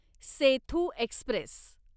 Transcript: Sethu Express